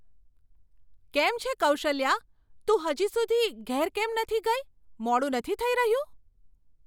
કેમ છે કૌશલ્યા, તું હજુ સુધી ઘેર કેમ નથી ગઈ? મોડું નથી થઈ રહ્યું?